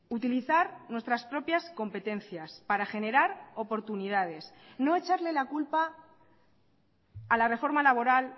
utilizar nuestras propias competencias para generar oportunidades no echarle la culpa a la reforma laboral